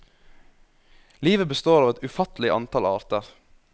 Livet består av et ufattelig antall arter.